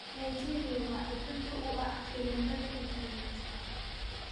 Nigeria waa xudunta u ah khiyaamada internetka